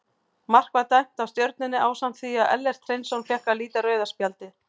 Mark var dæmt af Stjörnunni ásamt því að Ellert Hreinsson fékk að líta rauða spjaldið.